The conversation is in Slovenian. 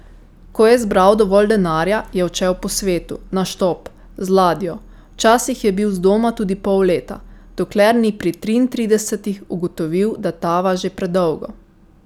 Ko je zbral dovolj denarja, je odšel po svetu, na štop, z ladjo, včasih je bil zdoma tudi pol leta, dokler ni pri triintridesetih ugotovil, da tava že predolgo.